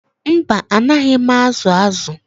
Mba, anaghị m azụ azụ